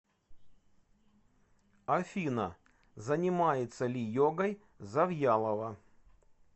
афина занимается ли йогой завьялова